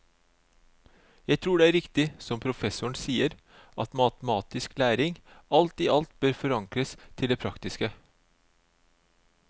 Jeg tror det er riktig, som professoren sier, at matematisk læring alt i alt bør forankres til det praktiske.